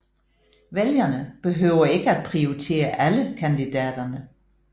Vælgerne behøver ikke at prioritere alle kandidaterne